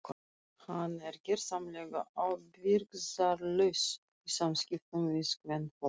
Hann er gersamlega ábyrgðarlaus í samskiptum við kvenfólk.